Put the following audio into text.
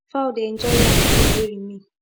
fowl dey enjoy yam peel wey remain